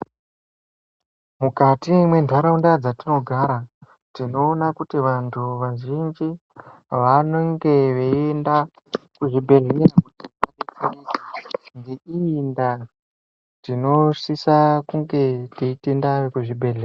Mukati mwentaraunda dzetinogara tinoona kuti vanthu vazhinji vanonga veienda kuzvibhedhlera ngeiyi ndaa tinosisa kunga teitenda vekuzvibhedhlera.